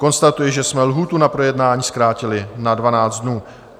Konstatuji, že jsme lhůtu na projednání zkrátili na 12 dnů.